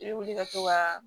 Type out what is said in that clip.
I bɛ wuli ka to ka